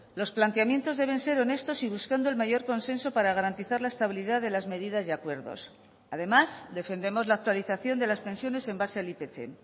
los planteamientos deben ser honestos y buscando el mayor consenso para garantizar la estabilidad de las medidas y acuerdos además defendemos la actualización de las pensiones en base al ipc